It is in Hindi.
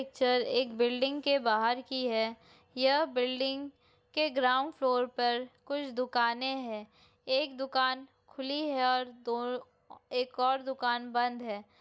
पिक्चर एक बिल्डिंग के बाहर की है यह बिल्डिंग के ग्राउंड फ्लोर पर कुछ दुकानें हैं एक दुकान खुली है और दो एक और दुकान बंद है।